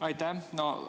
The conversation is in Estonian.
Aitäh!